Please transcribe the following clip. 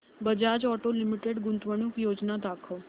Bajaj auto limited गुंतवणूक योजना दाखव